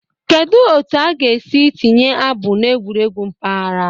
Kedu otu a ga-esi tinye abụ n'egwuregwu mpaghara?